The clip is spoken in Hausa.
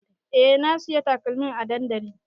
E na siyo takalmin a dandali